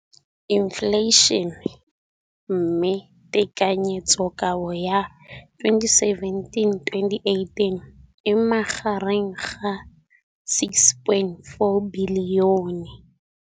Infleišene, mme tekanyetsokabo ya 2017, 18, e magareng ga R6.4 bilione.